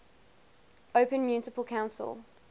open municipal council